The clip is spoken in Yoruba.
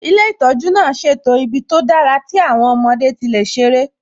Ilé ìtọ́jú náà ṣètò ibi tó dára tí àwọn ọmọdé tí lè ṣerẹ́